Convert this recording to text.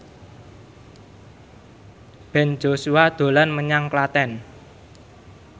Ben Joshua dolan menyang Klaten